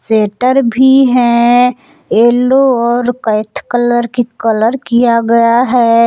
Shutter भी है yellow और कैथ कलर की कलर किया गया है।